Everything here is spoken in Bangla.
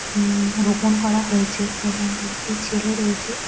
হমম রোপন করা হয়েছে এবং একটি ছেলে রয়েছে।